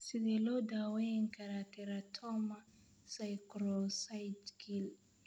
Sidee loo daweyn karaa teratoma sacrococcygeal?